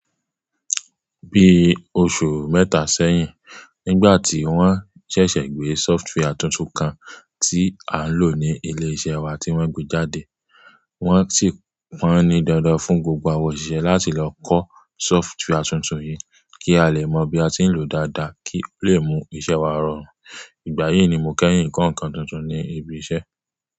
Bí oṣù mẹ́ta sẹ́yìn, nígbà tí wọ́n ṣẹ̀ṣẹ̀ gbé sọfitìwàre túntù kan tí à ń lò ní ilé iṣẹ́ wa tí wọ́n gbé jáde, wọ́n sì pọnni dandan fún gbogbo àwọn òṣìṣẹ́ láti lọ kọ́ sọfitìwàre túntùn yìí kí a lè mọ bí a ti ń lòó dáadáa kí ó lè mú iṣẹ́ wa rọrùn. Ìgbà yìí ni mo kẹ́yìn nǹkan tuntun ní ibi iṣẹ́.